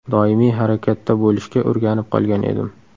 Doimiy harakatda bo‘lishga o‘rganib qolgan edim.